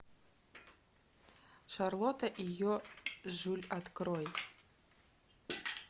шарлотта и ее жюль открой